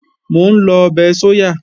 Mò ń lọ ọbẹ̀ sóyà